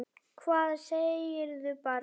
Hvað segirðu barn?